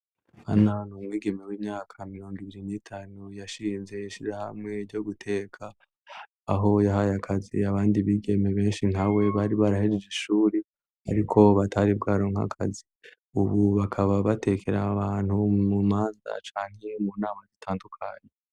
Hano hantu hari umwigeme w'imyaka mirondo ibiri ne itanu yashinze ishira hamwe ryo guteka aho yahaye akazi abandi bigeme benshi nka we bari barahejeje ishuri ariko batari bwaronka kazi ubu bakaba batekera abantu mu manza acanye mu nama zitandukanye.